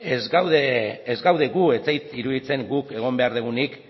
ez gaude gu ez zait iruditzen guk egon behar dugunik